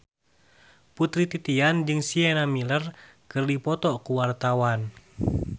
Putri Titian jeung Sienna Miller keur dipoto ku wartawan